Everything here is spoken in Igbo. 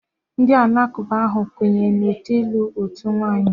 Ndị Alakụba ha ga-ekwenye na otu ịlụ otu nwaanyị.